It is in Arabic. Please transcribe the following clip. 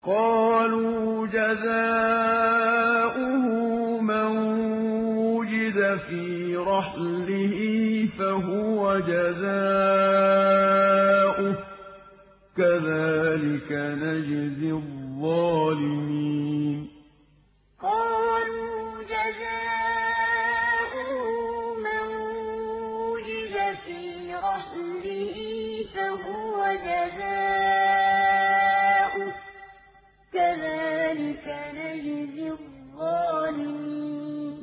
قَالُوا جَزَاؤُهُ مَن وُجِدَ فِي رَحْلِهِ فَهُوَ جَزَاؤُهُ ۚ كَذَٰلِكَ نَجْزِي الظَّالِمِينَ قَالُوا جَزَاؤُهُ مَن وُجِدَ فِي رَحْلِهِ فَهُوَ جَزَاؤُهُ ۚ كَذَٰلِكَ نَجْزِي الظَّالِمِينَ